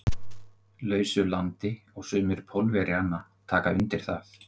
lausu landi og sumir Pólverjanna taka undir það.